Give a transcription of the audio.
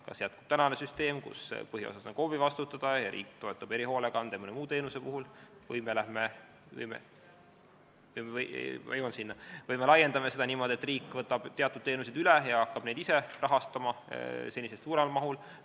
Võib jätkuda tänane süsteem, kus põhiosas on see KOV-i vastutada ja riik toetab erihoolekande või mõne muu teenuse puhul, või me laiendame seda niimoodi, et riik võtab teatud teenused üle ja hakkab neid ise rahastama senisest suuremas mahus.